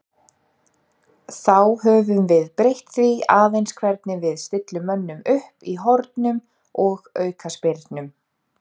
Þá höfum við breytt því aðeins hvernig við stillum mönnum upp í hornum og aukaspyrnum.